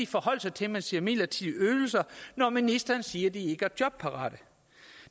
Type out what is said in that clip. forholde sig til at man siger midlertidige ydelser når ministeren siger at de ikke er jobparate